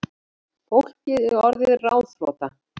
Fólkið er orðið ráðþrota